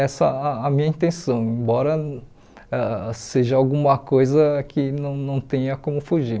Essa a a minha intenção, embora ãh seja alguma coisa que não não tenha como fugir.